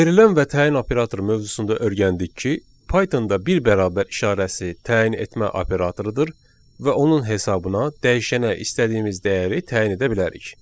Verilən və təyin operatoru mövzusunda öyrəndik ki, Pythonda bir bərabər işarəsi təyin etmə operatorudur və onun hesabına dəyişənə istədiyimiz dəyəri təyin edə bilərik.